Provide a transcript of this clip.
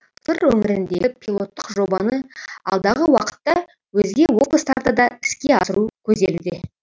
сыр өңіріндегі пилоттық жобаны алдағы уақытта өзге облыстарда да іске асыру көзделуде